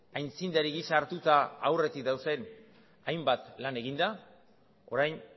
aitzindari gisa hartuta aurretik dauden hainbat lan eginda orain